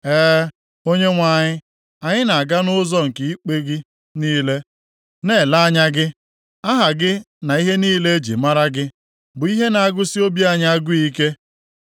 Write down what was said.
E, Onyenwe anyị, anyị na-aga nʼụzọ nke ikpe gị niile, na-ele anya gị. Aha gị na ihe niile e ji mara gị bụ ihe na-agụsị obi anyị agụ ike.